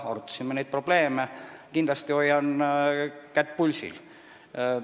Me arutasime probleeme ja kindlasti ma hoian kätt pulsil.